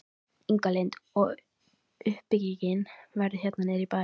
Inga Lind: Og uppbyggingin verður hérna niður í bæ?